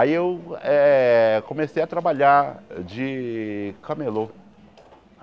Aí eu eh comecei a trabalhar de camelô.